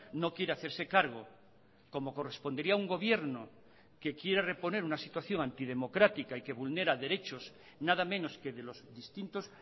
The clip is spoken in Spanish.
no quiere hacerse cargo como correspondería a un gobierno que quiere reponer una situación antidemocrática y que vulnera derechos nada menos que de los distintos